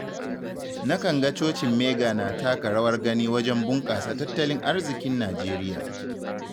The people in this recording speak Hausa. Na kan ga cocin Mega na taka rawar gani wajen bunkasa tattalin arzikin Najeriya.